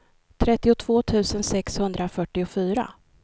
trettiotvå tusen sexhundrafyrtiofyra